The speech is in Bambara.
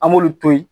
An b'olu to yen